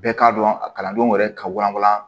Bɛɛ k'a dɔn a kalandenw yɛrɛ ka walawala